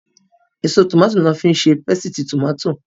Èso tòmáàtì lọ́ fi ń ṣe pésìtì tòmátò.